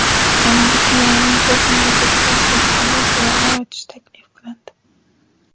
Janubiy Koreyaning to‘rt universitetiga O‘zbekistonda filiallar ochish taklif qilindi.